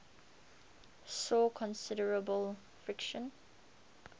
saw considerable friction